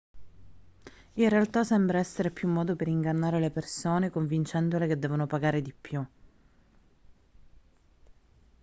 in realtà sembra essere più un modo per ingannare le persone convincendole che devono pagare di più